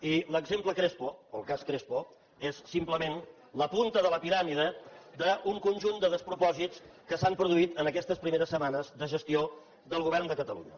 i l’exemple crespo o el cas crespo és simplement la punta de la piràmide un conjunt de despropòsits que s’han produït en aquestes primeres setmanes de gestió del govern de catalunya